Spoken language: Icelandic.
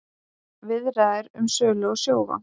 Viðræður um sölu á Sjóvá